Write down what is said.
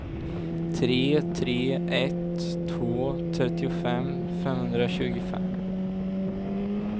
tre tre ett två trettiofem femhundratjugofem